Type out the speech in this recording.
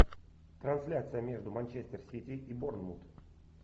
трансляция между манчестер сити и борнмут